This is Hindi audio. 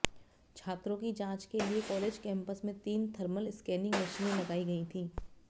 छात्रों की जांच के लिए कालेज कैंपस में तीन थर्मल स्केनिंग मशीनें लगाई गई थी